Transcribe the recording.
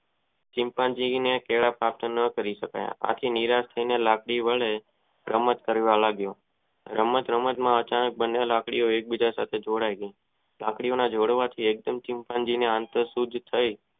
ચિતનજી ને કહેવા ખાતર ન બની સકા આથી નિરાશ થયેલો લાકડી વડે રમત કરવા લાગો રમત રમત માં આચાનક લાકડીઓ એક બીજા સાથે જોડાય ગઇ લાકડી ઓ ના જોડવાથી એકદમ ચિતં જી નો યાત્રા સુજી થઇ